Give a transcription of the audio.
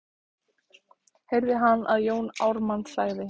heyrði hann að Jón Ármann sagði.